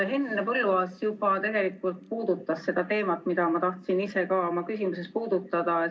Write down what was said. Henn Põlluaas juba tegelikult puudutas seda teemat, mida ma tahtsin ise ka oma küsimuses puudutada.